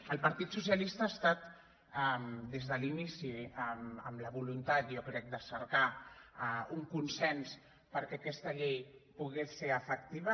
el partit socialista ha estat des de l’inici amb la voluntat jo crec de cercar un consens perquè aquesta llei pogués ser efectiva